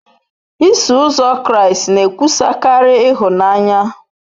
Iso Ụzọ Kraịst na-ekwusakarị ịhụnanya.